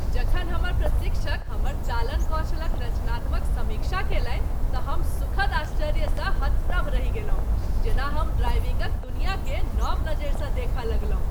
जखन हमर प्रशिक्षक हमर चालन कौशल क रचनात्मक समीक्षा कयलनि तँ हम सुखद आश्चर्य सँ हतप्रभ रहि गेलहुँ। जेना हमर ड्राइविंगक दुनियाकेँ नब नजरि स देख लगलहुँ ।